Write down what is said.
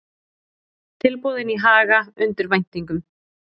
Tilboðin í Haga undir væntingum